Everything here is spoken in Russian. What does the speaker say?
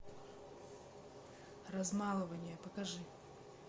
размалывание покажи